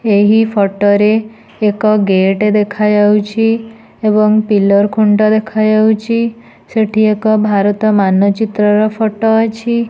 ଏହି ଫଟୋ ରେ ଏକ ଗେଟ୍ ଦେଖା ଯାଉଛି ଏବଂ ପିଲର୍ ଖୁଣ୍ଟ ଦେଖା ଯାଉଛି ସେଠି ଏକ ଭାରତ ମାନଚିତ୍ରର ଫଟୋ ଅଛି।